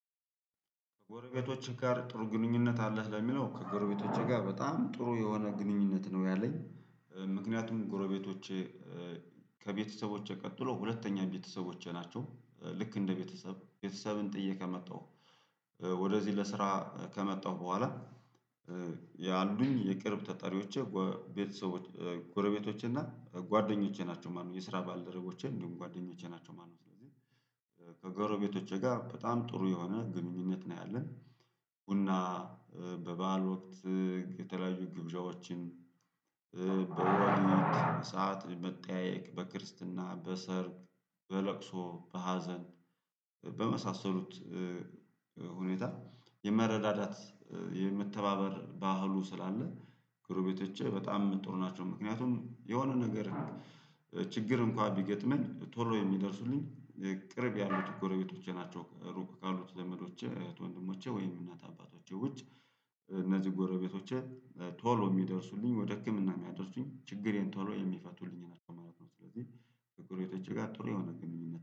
ከጎረቤቶችህ ጋር ጥሩ ግንኙነት አለህ ለሚለው ከጎረቤቶቼ ጋር በጣም ጥሩ የሆነ ግንኙነት ነው ያለኝ። ምክንያቱም ጎረቤቶቼ ከቤተሰቦቼ ቀጥሎ ሁለተኛ ቤተሰቦቼ ናቸው ልክ እንደ ቤተሰብ ቤተሰብን ጥዬ ከመጣሁ ወደዚህ ለስራ ከመጣሁ በኋላ ያሉኝ የቅርብ ተጠሪዎቼ ቤተሰቦች ጎረቤቶቼ እና ጓደኞቼ ናቸው ማለት ነው የስራ ባልደረቦቼን እንዲሁም ጓደኞቼ ናቸው። ከጎረቤቶቼ ጋር በጣም ጥሩ የሆነ ግንኙነት ነው ያለን። ቡና በበዓል ወቅት የተለያዩ ግብዣዎችን በወሊድ ሰዓት መጠያየቅ በክርስትና በሰርግ በለቅሶ በሀዘን በመሳሰሉት ሁኔታ የመረዳዳት የመተባበር ባህሉ ስላለ ግሩቤቶቼ በጣም ጥሩ ናቸው። ምክንያቱም የሆነ ነገር ችግር እንኳን ቢገጥመኝ ቶሎ የሚደርሱልኝ ቅርብ ያሉት ጎረቤቶቼ ናቸው። ሩቅ ካሉት ዘመዶቼ እህት ወንድሞቼ ወይም እናት አባቶቼ ውጭ እነዚህ ጎረቤቶቼ ቶሎ የሚደርሱልኝ ወደ ህክምና የሚያደርሱኝ ችግሬን ቶሎ የሚፈቱልኝን አተማረክ ነው። ስለዚህ ከጎሮቤቶቼ ጋር ጥሩ የሆነ ግንኙነት